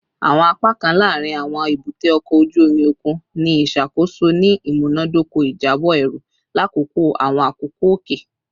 Awọn apakan laarin awọn ebute oko oju omi okun ni iṣakoso ni imunadoko ijabọ eru lakoko awọn akoko oke